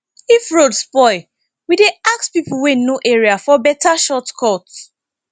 if road spoil we dey ask pipo wey know area for beta shortcut